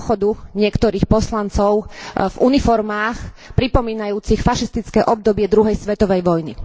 pochodu niektorých poslancov v uniformách pripomínajúcich fašistické obdobie druhej svetovej vojny.